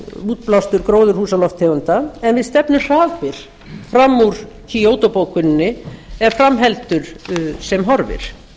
útblástur gróðurhúsalofttegunda en við stefnum hraðbyri fram úr kýótó bókuninni ef fram heldur sem horfir